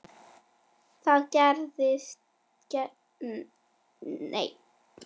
Þær gerðust víða.